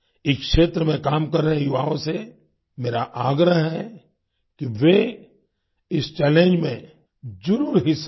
इस क्षेत्र में काम कर रहे युवाओं से मेरा आग्रह है कि वे इस चैलेंज में जरुर हिस्सा लें